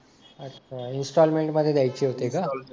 अच्छा इंस्टॉलमेंट मध्ये द्यायचे होते का?